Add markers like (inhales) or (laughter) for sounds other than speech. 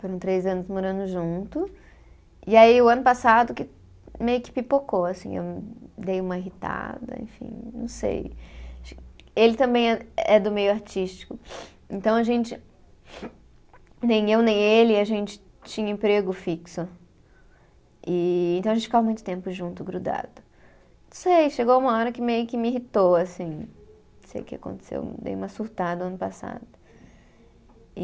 Foram três anos morando junto. E aí o ano passado que, meio que pipocou assim, eu dei uma irritada, enfim, não sei. Ele também é, é do meio artístico, (inhales) então a gente. (sniffs) Nem eu nem ele, a gente tinha emprego fixo e, então a gente ficava muito tempo junto, grudado. Não sei, chegou uma hora que meio que me irritou assim, não sei o que aconteceu, dei uma surtada o ano passado, e